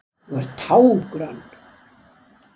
Þú ert tággrönn!